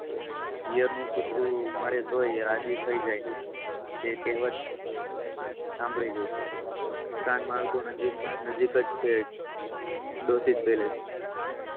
પિયર નું કૂતરું મળે તો રાજી થાય જાય. તે કેહવત સાંભળી ગઈ સ્તન માર્ગો નજીક છે. ડોસીલપેલેસ.